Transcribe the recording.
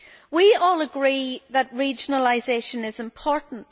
We all agree that regionalisation is important.